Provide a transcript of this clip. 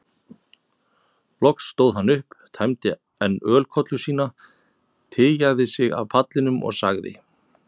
Loks stóð hann upp, tæmdi enn ölkollu sína, tygjaði sig af pallinum og sagði